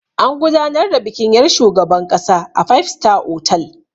An gudanar da bikin yar' shugaban ƙasa a 5 star otal.